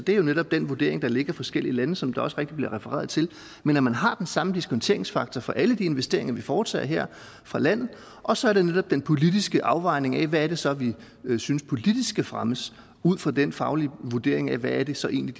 er jo netop den vurdering der ligger i forskellige lande sådan som det også rigtigt bliver refereret men at man har den samme diskonteringsfaktor for alle de investeringer vi foretager her fra landet og så er det netop den politiske afvejning af hvad det så er vi synes politisk skal fremmes ud fra den faglige vurdering af hvad det så egentlig